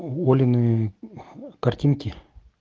олины картинки